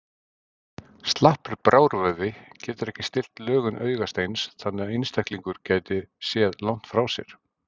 Slappur brárvöðvi getur ekki stillt lögun augasteins þannig að einstaklingur geti séð langt frá sér.